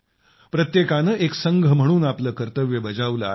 प्रत्येकाने एक संघ म्हणून आपले कर्तव्य बजावले आहे